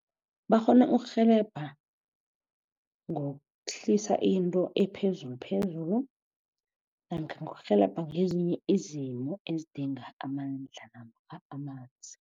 Bakghona ukurhelebha ngokuhlisa into ephezulu phezulu namkha ngokurhelebha ngezinye izimo ezidinga amandla namkha amanzi.